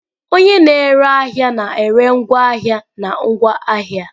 Onye na-ere ahịa na-ere ngwaahịa na ngwa ahịa.